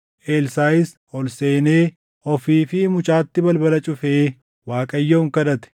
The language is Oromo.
Elsaaʼis ol seenee, ofii fi mucaatti balbala cufee Waaqayyoon kadhate.